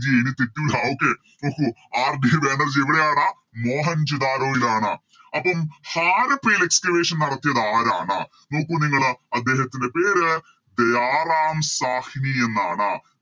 ജിയെ എനി തെറ്റൂലാ Okay ഓ ഹോ RD ബാനർജി എവിടെയാണ് മോഹൻജാതരോയിലാണ് അപ്പോം ഹാരപ്പയിൽ Excavation നടത്തിയതാരാണ് നോക്കു നിങ്ങള് അദ്ദേഹത്തിൻറെ പേര് ദയാറാം സാഹ്‌വി എന്നാണ്